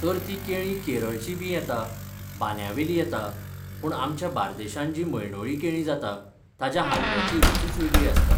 तर तीं केळीं केरळचीं बीं येता, बांंद्यावेलीं येता पूण आमच्या बार्देशांत जीं मंडोळीं केळीं जाता, ताजो हालव्याची रुचूच वेगळी आसता.